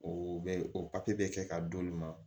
O bɛ o papiye bɛ kɛ ka d'olu ma